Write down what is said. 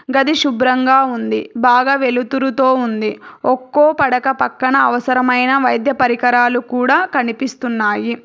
గది శుభ్రంగా ఉంది బాగా వెలుతురుతో ఉంది ఒక్కో పడక పక్కన అవసరమైన వైద్య పరికరాలు కూడా కనిపిస్తున్నాయి.